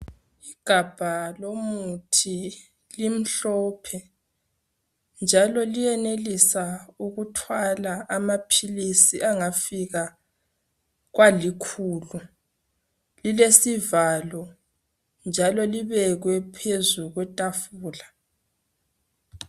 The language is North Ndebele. Igabha lomuthi limhlophe njalo liyenelisa ukuthwala amaphilisi angafika kwalikhulu lilesivalo njalo libekwe phezu kwetafula